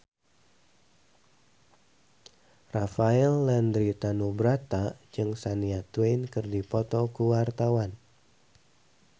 Rafael Landry Tanubrata jeung Shania Twain keur dipoto ku wartawan